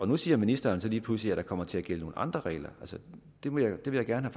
nu siger ministeren så lige pludselig at der kommer til at gælde nogle andre regler det vil jeg gerne